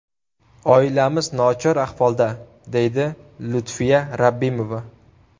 Oilamiz nochor ahvolda”, deydi Lutfiya Rabbimova.